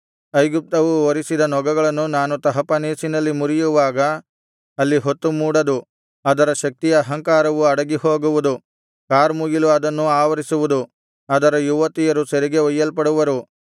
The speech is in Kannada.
ಐಗುಪ್ತವು ಹೊರಿಸಿದ ನೊಗಗಳನ್ನು ನಾನು ತಹಪನೇಸಿನಲ್ಲಿ ಮುರಿಯುವಾಗ ಅಲ್ಲಿ ಹೊತ್ತು ಮೂಡದು ಅದರ ಶಕ್ತಿಯ ಅಹಂಕಾರವು ಅಡಗಿ ಹೋಗುವುದು ಕಾರ್ಮುಗಿಲು ಅದನ್ನು ಆವರಿಸುವುದು ಅದರ ಯುವತಿಯರು ಸೆರೆಗೆ ಒಯ್ಯಲ್ಪಡುವರು